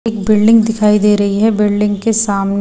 एक बिल्डिंग दिखाई दे रही है बिल्डिंग के सामने--